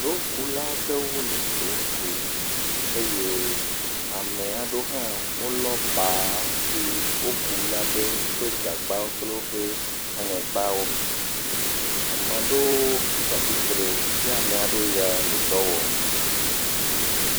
Dokula aɖewo le do kum eye ame aɖewo hã wolɔ̃ gba si woku la ɖe woƒe gagbawo kple woƒe aŋegbawo me. Ame aɖewo tsa atsitre. Ame aɖewo ya le dɔ wɔm.